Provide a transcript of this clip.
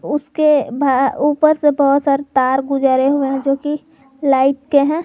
उसके भा ऊपर से बहुत सारे गुजरे हुए हैं जोकि लाइट के हैं।